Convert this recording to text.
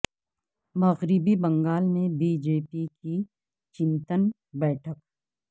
مغربی بنگال میں B J P کی چنتن بیٹھک